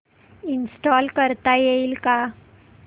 install करता येईल का